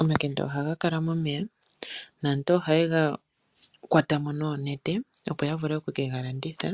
Omakende ohaga kala momeya naantu ohaye ga kwata mo noonete opo ya vule okuke galanditha.